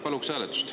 Paluks hääletust.